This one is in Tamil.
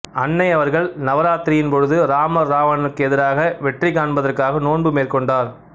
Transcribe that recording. அன்னை அவர்கள் நவராத்திரியின் பொழுது ராமர் ராவணனுக்கு எதிராக வெற்றி காண்பதற்காக நோன்பு மேற்கொண்டார்